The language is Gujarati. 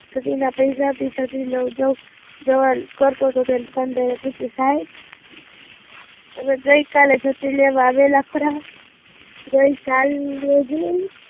છત્રી ના પૈસા બી છત્રી જેવા કરતો હતો, એવું દુકાનદારે પૂછિયું, સાહેબ ગઈ કાલે છત્રી લેવા આવેલા ખરા? ગઈસાલ